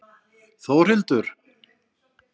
Þórhildur